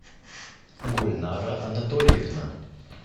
гульнара анатольевна